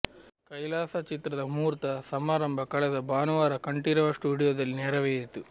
ಕೈಲಾಸ ಚಿತ್ರದ ಮುಹೂರ್ತ ಸಮಾರಂಭ ಕಳೆದ ಭಾನುವಾರ ಕಂಠೀರವ ಸ್ಟುಡಿಯೋದಲ್ಲಿ ನೆರವೇರಿತು